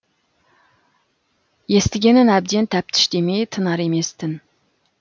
естігенін әбден тәптіштемей тынар емес тін